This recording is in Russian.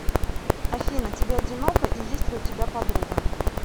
афина тебе одиноко и есть ли у тебя подруга